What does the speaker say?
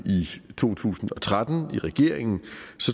i to tusind og tretten i regeringen